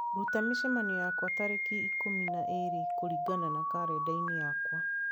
Ruta mĩcemanio yakwa ya tariki ikũmi na ĩĩrĩ kũringana na karenda-inĩ yakwa.